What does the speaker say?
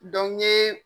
n ye